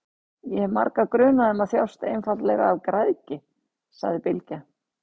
Ég hef marga grunaða um að þjást einfaldlega af græðgi, sagði Bylgja.